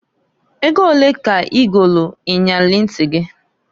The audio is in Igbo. Ego onee ka i golu iyeli nti gị?